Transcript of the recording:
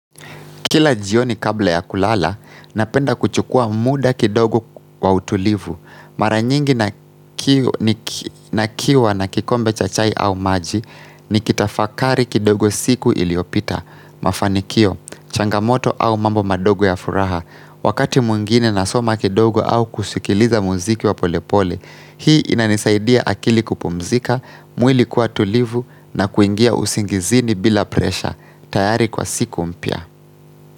Kila jioni kabla ya kulala, napenda kuchukua muda kidogo wa utulivu. Mara nyingi nikiwa na kikombe cha chai au maji, nikitafakari kidogo siku iliyopita. Mafanikio, changamoto au mambo madogo ya furaha. Wakati mwingine nasoma kidogo au kusikiliza muziki wa polepole, hii inanisaidia akili kupumzika, mwili kuwa tulivu na kuingia usingizini bila presha. Tayari kwa siku mpya.